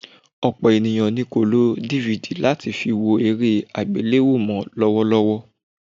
Ọ̀pọ̀ ènìyàn ni kò lo DVD láti fi wo eré àgbéléwò mọ́ lọ́wọ́lọ́wọ́